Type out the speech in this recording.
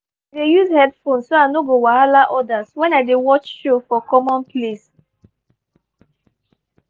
i dey use headphone so i no go wahala others when i dey watch show for common place.